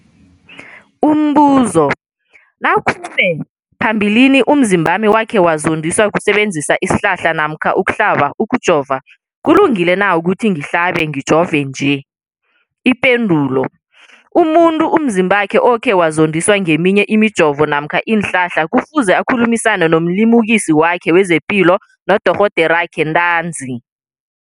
Umbuzo, nakube phambilini umzimbami wakhe wazondiswa kusebenzisa isihlahla namkha ukuhlaba, ukujova, kulungile na ukuthi ngihlabe, ngijove nje? Ipendulo, umuntu umzimbakhe okhe wazondiswa ngeminye imijovo namkha iinhlahla kufuze akhulumisane nomlimukisi wakhe wezepilo, nodorhoderakhe ntanzi.